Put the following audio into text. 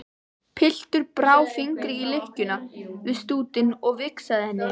Pilturinn brá fingri í lykkjuna við stútinn og vingsaði henni.